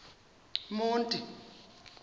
monti